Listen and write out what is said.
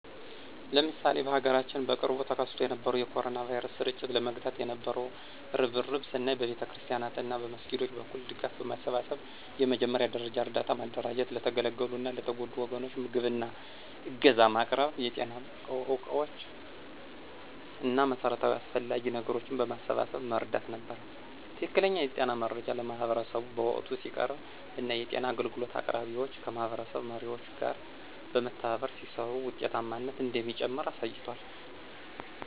ለምሳሌ በሀገራችን በቅርቡ ተከስቶ የነበረውን የ ኮሮና ቫይረስ ስርጭት ለመግታት የነበው እርብርብን ስናይ በቤተክርስቲያናት እና መስጊዶች በኩል ድጋፍ በማሰባሰብ የመጀመሪያ ደረጃ እርዳታ ማደራጀት ለተገለሉ እና የተጎዱ ወገኖች ምግብ እና ዕገዛ ማቅረብ የጤና ዕቃዎች እና መሠረታዊ አስፈላጊ ነገሮችን በማሰባሰብ መርዳት ነበር። ትክክለኛ የጤና መረጃ ለማህበረሰቡ በወቅቱ ሲቀርብ እና የጤና አገልግሎት አቅራቢዎች ከማህበረሰብ መሪዎች ጋር በመተባበር ሲሰሩ ውጤታማነት እንደሚጨምር አሳይቷል።